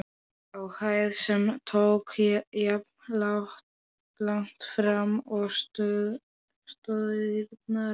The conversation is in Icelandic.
á hæð, sem tók jafnlangt fram og stoðirnar.